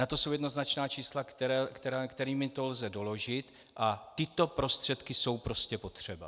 Na to jsou jednoznačná čísla, kterými to lze doložit, a tyto prostředky jsou prostě potřeba.